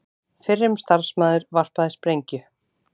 Fyrrum starfsmaður varpaði sprengju